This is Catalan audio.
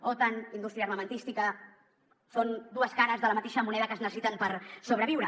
otan indústria armamentística són dues cares de la mateixa moneda que es necessiten per sobreviure